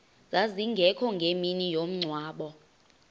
zazingekho ngemini yomngcwabo